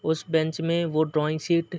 उस बेंच में वो ड्रॉइंग शीट --